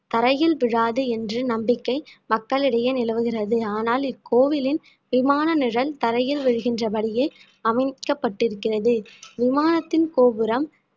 தரையில் விழாது என்று நம்பிக்கை மக்களிடையே நிலவுகிறது ஆனால் இக்கோவிலின் விமான நிழல் தரையில் விழுகின்ற படியே அமைக்கப்பட்டிருக்கிறது விமானத்தின் கோபுரம்